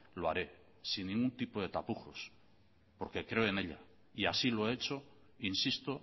lo haré sin ningún tipo de tapujos porque creo en ella y así lo he hecho insisto